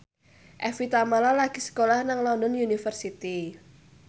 Evie Tamala lagi sekolah nang London University